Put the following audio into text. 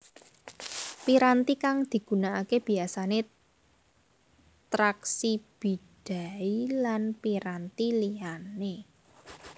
Piranti kang digunakake biyasane traksi bidai lan piranti liyane